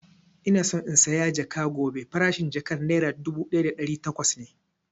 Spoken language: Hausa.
Ina so in saya jaka gobe, farashin jakan nera dubu ɗaya da ɗari takwas ne